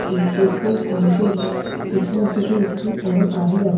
এই পেট্রোল পাম্পের পেছনের দিকে একটি বড়ো গাড়ি আছে।